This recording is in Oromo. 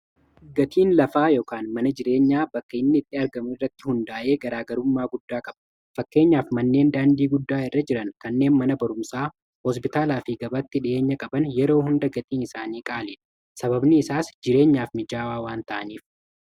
gatiin lafaa ykn mana jireenyaa bakkainni itti argamu irratti hundaa'ee garaagarummaa guddaa qaba fakkeenyaaf manneen daandii guddaa irra jiran kanneen mana barumsaa hospitaalaa fi gabaatti dhi'eenya qaban yeroo hunda gatiin isaanii qaaliidha sababni isaas jireenyaaf mijaawaa waan ta'aniif